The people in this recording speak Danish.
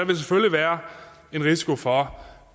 vil selvfølgelig være en risiko for